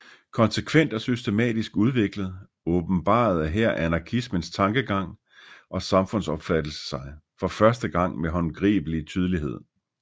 Konsekvent og systematisk udviklet åbenbarede her anarkismens tankegang og samfundsopfattelse sig for første gang med håndgribelig tydelighed